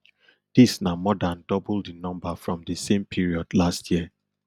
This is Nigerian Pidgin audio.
dis na more dan double di number from di same period last year